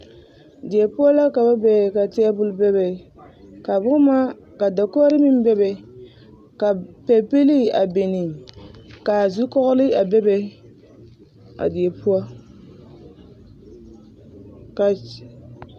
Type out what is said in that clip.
Die poɔ la ka ba be ka taabul be ka boma ka dakoɡri meŋ bebe ka pɛbilii a biŋ ka zukɔɔɡele a bebe a die poɔ ka.